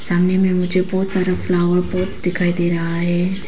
सामने में मुझे बहुत सारा फ्लावर पॉट्स दिखाई दे रहा है।